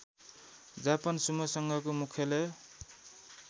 Japan sumo सङ्घको मुख्यालय